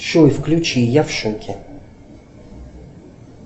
джой включи я в шоке